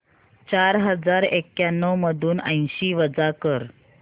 चार हजार एक्याण्णव मधून ऐंशी वजा कर